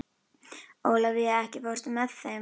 Ólafía, ekki fórstu með þeim?